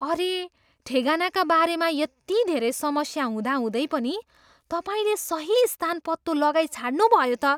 अरे! ठेगानाका बारेमा यति धेरै समस्या हुँदाहुँदै पनि तपाईँले सही स्थान पत्तो लगाइछाड्नु भयो त!